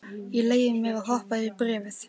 Ég leyfi mér að hoppa yfir í bréfið.